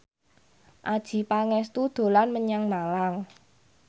Adjie Pangestu dolan menyang Malang